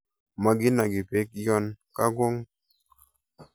Mokinoki beek yon kakong'.